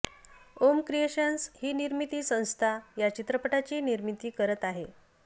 ॐ creations ही निर्मिती संस्था या चित्रपटाची निर्मिती करत आहे